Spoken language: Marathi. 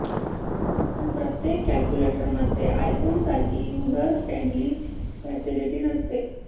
पण प्रत्येक कॅल्क्यूलेटर मध्ये आयफोन सारखी युजर फ्रेंडली फॅसिलीटी नसते